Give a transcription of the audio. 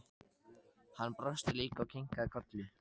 Hann brosti líka og kinkaði kolli.